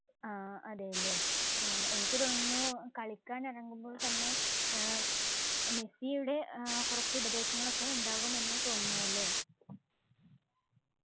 ആഹ് അതെയല്ലേ ഏർ എനിക്ക് തോന്നുന്നു കളിക്കാൻ ഇറങ്ങുമ്പോൾ തന്നെ ഏർ മെസ്സിയുടെ ഏർ കുറച്ച് ഉപദേശങ്ങൾ ഒക്കെ ഉണ്ടാകും എന്ന് തോന്നുന്നു അല്ലെ